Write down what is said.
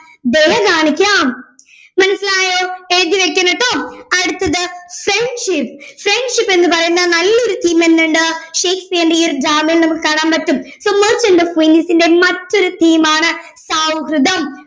ദയ കാണിക്കാം മനസ്സിലായോ എഴുതിവെക്കെണംട്ടൊ അടുത്തത് friendship friendship എന്ന് പറയുന്ന നല്ലൊരു theme തന്നെയുണ്ട് ഷേക്സ്പിയറിന്റെ ഈയൊരു drama യിൽ നമുക്ക് കാണാൻ പറ്റും so merchant of Venice മറ്റൊരു theam ആണ് സൗഹൃദം